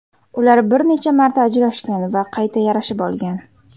Ular bir necha marta ajrashgan va qayta yarashib olgan.